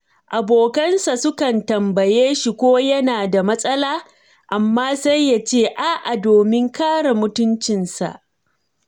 Abokansa sukan tambaye shi ko yana da matsala, amma sai ya ce a'a domin kare mutuncinsa.